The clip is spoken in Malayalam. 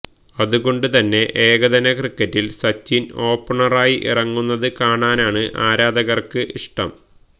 അതുകൊണ്ട് തന്നെ ഏകദിന ക്രിക്കറ്റില് സചിന് ഓപ്പണറായി ഇറങ്ങുന്നത് കാണാനാണ് ആരാധകര്ക്ക് ഇഷ്ടം